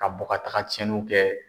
Ka bɔ ka taga cɛnninw kɛ